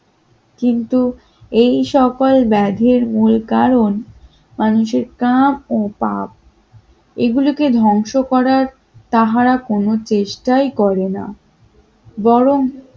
কিন্তু এই সকল ব্যাধের মূল কারণ মানুষের প্রাণ ও পাপ এগুলোকে ধ্বংস করার তারা কোনো চেষ্টাই করেনা বর